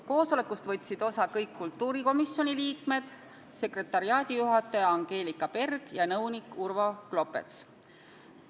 Koosolekust võtsid osa kõik kultuurikomisjoni liikmed, sekretariaadijuhataja Angelika Berg ja nõunik Urvo Klopets.